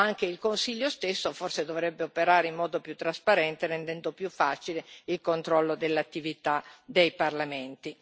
Anche il Consiglio stesso, forse, dovrebbe operare in modo più trasparente, rendendo più facile l'attività di controllo dei parlamenti.